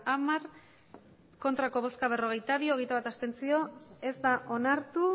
hamar ez berrogeita bi abstentzioak hogeita bat ez da onartu